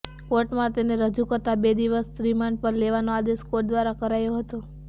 કોર્ટમાં તેને રજૂ કરતા બે દિવસના રિમાન્ડ પર લેવાનો આદેશ કોર્ટ દ્વારા કરાયો હતો